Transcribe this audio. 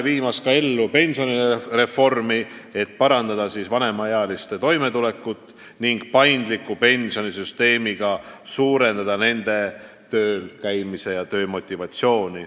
Viime ka ellu pensionireformi, et parandada vanemaealiste toimetulekut ning pakkuda neile paindliku pensionisüsteemi abil enam motivatsiooni tööl käia.